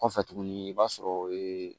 Kɔfɛ tuguni i b'a sɔrɔ